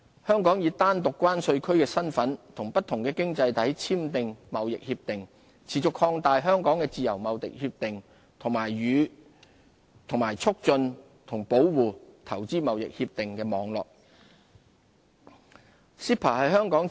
香港以單獨關稅區的身份與不同經濟體簽訂貿易協定，持續擴大香港的自由貿易協定與促進和保護投資協定網絡。